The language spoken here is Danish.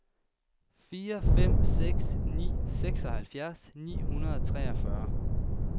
fire fem seks ni seksoghalvfjerds ni hundrede og treogfyrre